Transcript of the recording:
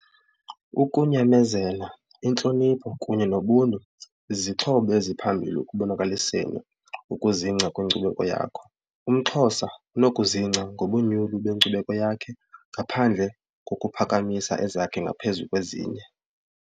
Ukunyamezela, intlonipho kunye nobuntu zizixhobo eziphambili ekubonakaliseni ukuzingca kwinkcubeko yakho. UmXhosa unokuzingca ngobunyulu benkcubeko yakhe ngaphandle kokuphakamisa ezakhe ngaphezu kwezinye.